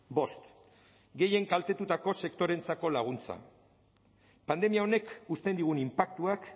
bost gehien kaltetutako sektoreentzako laguntza pandemia honek uzten digun inpaktuak